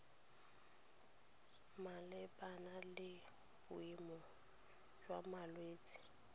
malebana le boemo jwa malwetse